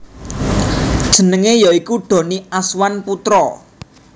Jenenge ya iku Donny Azwan Putra